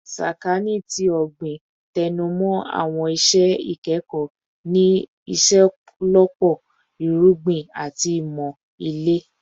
Sakaani ti Ogbin tẹnumọ awọn iṣẹ ikẹkọ ni iṣelọpọ Irugbin ati Imọ Ile